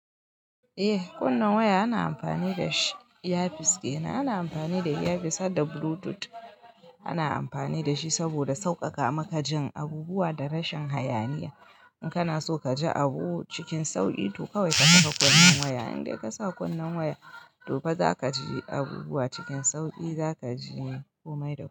Eh, wannnan waya ana amfani da shi. Iyafis dina ana amfani da iyafis hadda blutut ana amfani da shi saboda sauƙaƙa maka jin abubuwa da rashin hayaniya. In kana so ka ji abu cikin sauƙi, to kawai ka saka kunnen waya. In dai ka sa kunnen waya, to fa za ka ji abubuwa cikin sauƙi, za ka ji komai da komai.